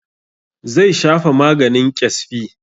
Zai shafa maganin ƙyasfi.